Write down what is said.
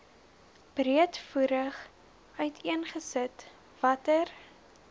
breedvoerig uiteengesit watter